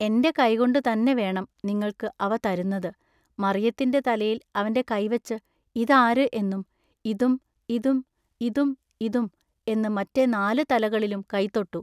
എന്റെ കൈകൊണ്ടു തന്നെ വേണം നിങ്ങൾക്കു അവ തരുന്നതു, മറിയത്തിന്റെ തലയിൽ അവന്റെ കൈവച്ചു ഇതാരു” എന്നും “ഇതും ഇതും ഇതും ഇതും" എന്നു മറ്റെ നാലു തലകളിലും കൈത്തൊട്ടു.